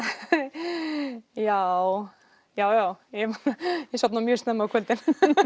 já já ég sofna mjög snemma á kvöldin